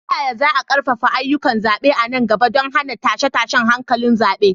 Ta yaya za a ƙarfafa ayyukan zaɓe a nan gaba don hana tashe-tashen hankulan zaɓe?